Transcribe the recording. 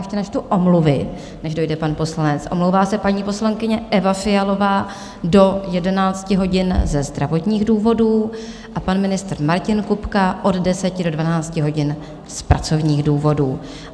Ještě načtu omluvy, než dojde pan poslanec: omlouvá se paní poslankyně Eva Fialová do 11 hodin ze zdravotních důvodů a pan ministr Martin Kupka od 10 do 12 hodin z pracovních důvodů.